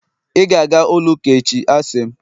ị ga-aga ụlọ ụka echi, a sị m!